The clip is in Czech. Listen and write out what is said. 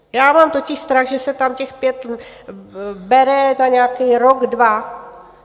Já mám totiž strach, že se tam těch pět bere na nějaký rok dva.